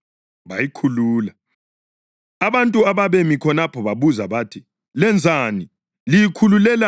abantu ababemi khonapho babuza bathi, “Lenzani, liyikhululelani inkonyane leyo na?”